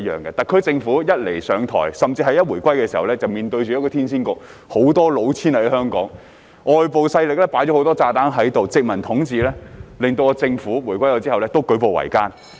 現屆政府上台甚至香港回歸時，特區其實已面對一個騙局，香港遍地老千，外部勢力在殖民統治時期埋下很多炸彈，令回歸後的特區政府舉步維艱。